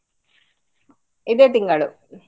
ಇದೇ ತಿಂಗಳು.